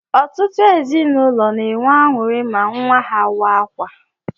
Ọtụtụ ezinụlọ n'enwe añụri ma nwa ha waa akwa